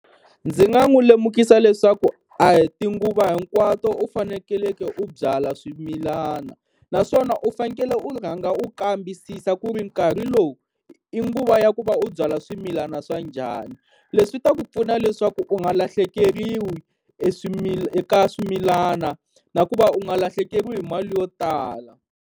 Ndzi nga n'wi lemukisa leswaku a hi tinguva hinkwato u fanekeleke u byala swimilana, naswona u fanekele u rhanga u kambisisa ku ri nkarhi lowu i nguva ya ku va u byala swimilana swa njhani. Leswi ta ku pfuna leswaku u nga lahlekeriwa eka swimilana na ku va u nga lahlekeriwa hi mali yo tala.